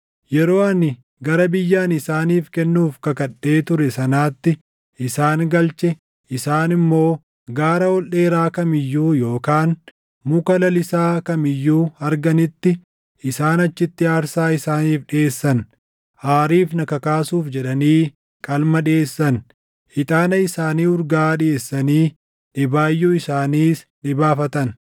yeroo ani gara biyya ani isaaniif kennuuf kakadhee ture sanaatti isaan galchee isaan immoo gaara ol dheeraa kam iyyuu yookaan muka lalisaa kam iyyuu arganitti, isaan achitti aarsaa isaaniif dhiʼeessan; aariif na kakaasuuf jedhanii qalma dhiʼeessan; ixaana isaanii urgaaʼaa dhiʼeessanii dhibaayyuu isaaniis dhibaafatan.